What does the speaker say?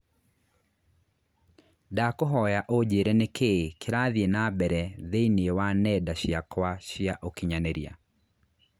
Ndakũhoya ũnjĩire nĩkĩĩ kĩrathiĩ nambere thĩinĩ wa nenda ciakwa cia ũkĩnyaniria